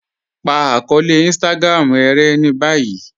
Pa akọọlẹ̀ Instagram e rẹ̀ ni báyì